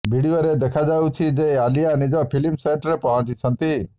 ଭିଡିଓରେ ଦେଖାଯାଇଛି ଯେ ଆଲିୟା ନିଜ ଫିଲ୍ମ ସେଟ୍ରେ ପହଞ୍ଚିଛନ୍ତି